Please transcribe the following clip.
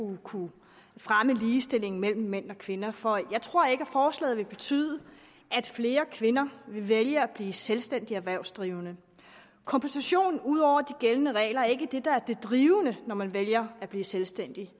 kunne fremme ligestillingen mellem mænd og kvinder for jeg tror ikke at forslaget vil betyde at flere kvinder vil vælge at blive selvstændigt erhvervsdrivende kompensation ud over de gældende regler er ikke det der er det drivende når man vælger at blive selvstændig